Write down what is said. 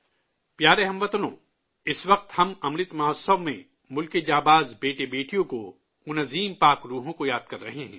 پیارے ہم وطنو، اس وقت ہم امرت مہوتسو میں ملک کے بہادر بیٹے بیٹیوں کو، ان عظیم روحوں کو یاد کر رہے ہیں